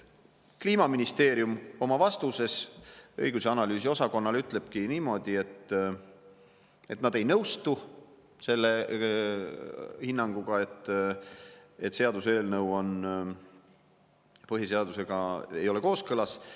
Kliimaministeerium oma vastuses õigus- ja analüüsiosakonnale ütleb niimoodi, et nad ei nõustu selle hinnanguga, et seaduseelnõu ei ole põhiseadusega kooskõlas.